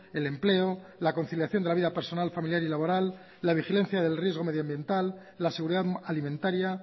el empleo la conciliación de la vida personal familiar y laboral la vigilancia del riesgo medioambiental la seguridad alimentaria